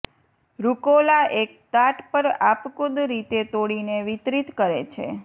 રુકોલા એક તાટ પર આપખુદ રીતે તોડીને વિતરિત કરે છે